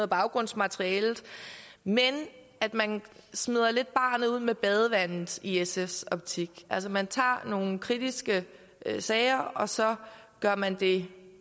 baggrundsmaterialet men man smider lidt barnet ud med badevandet i sfs optik altså man tager nogle kritiske sager og så gør man det